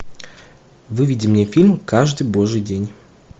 выведи мне фильм каждый божий день